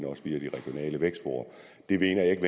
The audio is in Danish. via de regionale vækstfora det mener jeg ikke